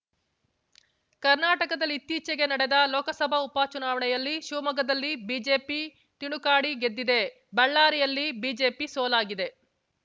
ಕರ್ನಾಟಕದಲ್ಲಿ ಇತ್ತೀಚೆಗೆ ನಡೆದ ಲೋಕಸಭಾ ಉಪ ಚುನಾವಣೆಯಲ್ಲಿ ಶಿವಮೊಗ್ಗದಲ್ಲಿ ಬಿಜೆಪಿ ತಿಣುಕಾಡಿ ಗೆದ್ದಿದೆ ಬಳ್ಳಾರಿಯಲ್ಲಿ ಬಿಜೆಪಿ ಸೋಲಾಗಿದೆ